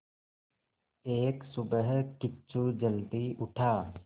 एक सुबह किच्चू जल्दी उठा